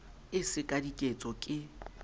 e se ka diketso ke